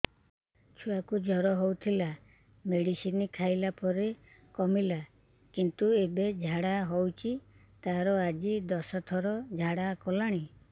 ଛୁଆ କୁ ଜର ହଉଥିଲା ମେଡିସିନ ଖାଇଲା ପରେ କମିଲା କିନ୍ତୁ ଏବେ ଝାଡା ହଉଚି ତାର ଆଜି ଦଶ ଥର ଝାଡା କଲାଣି